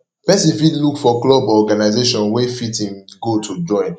person fit look for club or organization wey fit im goal to join